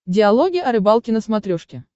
диалоги о рыбалке на смотрешке